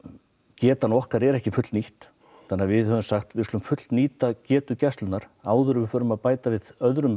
getan okkar er ekki fullnýtt þannig að við höfum sagt við skulum fullnýta getu gæslunnar áður en við förum að bæta við öðrum